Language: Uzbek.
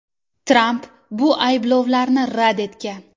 Tramp bu ayblovlarni rad etgan.